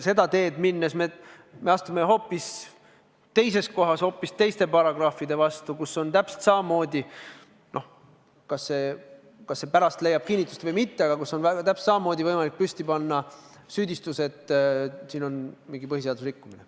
Seda teed minnes me astume teises kohas teiste paragrahvide vastu, kus on täpselt samamoodi võimalik püsti panna süüdistus – kas see pärast leiab kinnitust või mitte –, et siin on mingi põhiseaduse rikkumine.